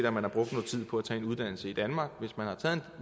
om man har brugt noget tid på tage en uddannelse i danmark hvis man har taget